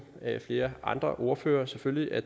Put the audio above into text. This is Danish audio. flere andre ordførere selvfølgelig at